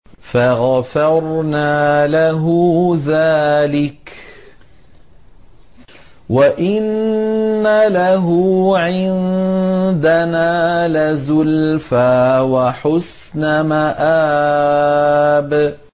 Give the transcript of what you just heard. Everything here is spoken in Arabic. فَغَفَرْنَا لَهُ ذَٰلِكَ ۖ وَإِنَّ لَهُ عِندَنَا لَزُلْفَىٰ وَحُسْنَ مَآبٍ